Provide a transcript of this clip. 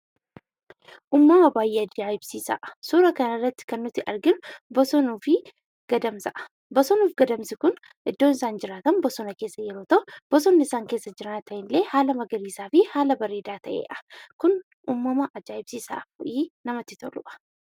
Uumama baay'ee ajaa'ibsiisaa! Suuraa kana irratti kan nuti arginu bosonuu fi gadamsadha. Bosonnii fi gadamsi kun iddoon isaan jiraatan bosona keessa yeroo ta'u, bosonni isaan keessa jiraatan illee haala magariisaa fi haala bareedaa ta'eedha. Kun uumama ajaa'ibsiisaa fi namatti toludha.